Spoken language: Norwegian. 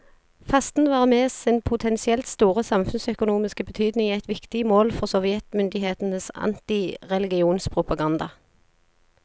Fasten var med sin potensielt store samfunnsøkonomiske betydning et viktig mål for sovjetmyndighetenes antireligionspropaganda.